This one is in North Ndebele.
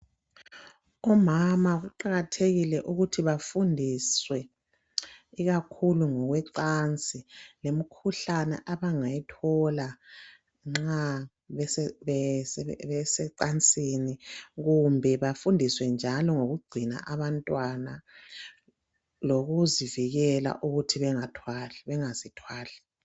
Omama kuqakathekile ukuthi bafundiswe ikakhulu ngokwecansi lemikhuhlane abangayithola nxa besecansini kumbe bafundiswe njalo ngokugcina abantwana lokuzivikela ukuthi bengazithwali.